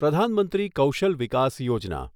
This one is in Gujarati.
પ્રધાન મંત્રી કૌશલ વિકાસ યોજના